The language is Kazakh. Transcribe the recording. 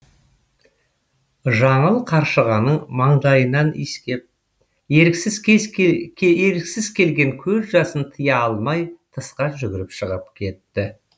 жаңыл қаршығаның маңдайынан иіскеп еріксіз келген көз жасын тыя алмай тысқа жүгіріп шығып кетті